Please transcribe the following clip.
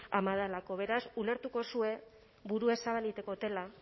ama delako beraz ulertukozue buruez zabalik eiten dotela